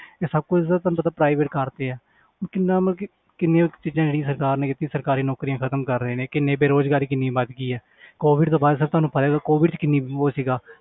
ਇਹ ਸਭ ਕੁਛ ਤੁਹਾਨੂੰ ਪਤਾ private ਕਰ ਦਿੱਤੇ ਹੈ ਹੁਣ ਕਿੰਨਾ ਮਤਲਬ ਕਿ ਕਿੰਨੀਆਂ ਕੁ ਚੀਜ਼ਾਂ ਜਿਹੜੀਆਂ ਸਰਕਾਰ ਨੇ ਕੀਤੀਆਂ ਸਰਕਾਰੀ ਨੌਕਰੀਆਂ ਖ਼ਤਮ ਕਰ ਰਹੇ ਨੇ ਕਿੰਨੇ ਬੇਰੁਜ਼ਗਾਰੀ ਕਿੰਨੀ ਵੱਧ ਗਈ ਹੈ COVID ਤੋਂ ਬਾਅਦ ਫਿਰ ਤੁਹਾਨੂੰ ਪਤਾ COVID 'ਚ ਕਿੰਨੀ ਉਹ ਸੀਗਾ